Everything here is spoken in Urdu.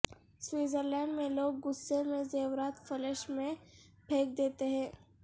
سوئٹزرلینڈ میں لوگ غصے میں زیورات فلش میں پھینکدیتے ہیں